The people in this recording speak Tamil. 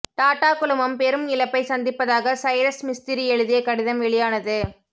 டாடா குழுமம் பெரும் இழப்பை சந்திப்பதாக சைரஸ் மிஸ்திரி எழுதிய கடிதம் வெளியானது